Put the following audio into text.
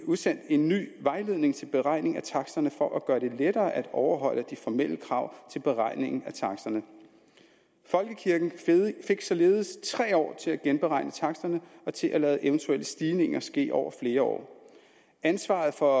udsendt en ny vejledning til beregning af taksterne for at gøre det lettere at overholde de formelle krav til beregning af taksterne folkekirken fik således tre år til at genberegne taksterne og til at lade eventuelle stigninger ske over flere år ansvaret for